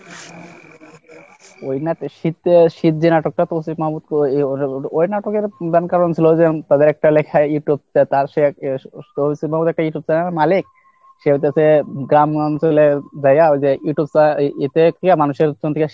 ওই নাটে শীতে শীত যে নাটকটা তো ওই নাটকের প্রধান কারণ ছিল যে তাদের একটা লেখা Youtubeতার সেই একটা Youtube channel এর মালিক, সে হইয়েছে গ্রাম অঞ্চলে যাইয়া ওই যে Youtube channel এতে মানুষের,